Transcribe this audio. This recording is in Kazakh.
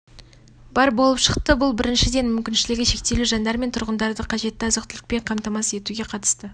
бар болып шықты бұл біріншіден мүмкіншілігі шектеулі жандар мен тұрғындарды қажетті азық-түлікпен қамтамасыз етуге қатысты